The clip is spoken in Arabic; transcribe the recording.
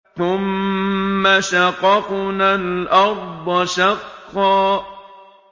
ثُمَّ شَقَقْنَا الْأَرْضَ شَقًّا